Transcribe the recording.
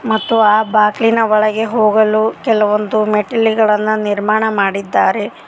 ಮತ್ತು ಆ ಬಾಕ್ಲಿನ ಒಳಗೆ ಹೋಗಲು ಕೆಲವೊಂದು ಮೆಟ್ಟಿಲುಗಳನ್ನು ನಿರ್ಮಾಣ ಮಾಡಿದ್ದಾರೆ.